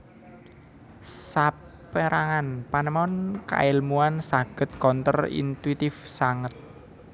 Sapérangan panemon kaèlmuan saged counter intuitive sanget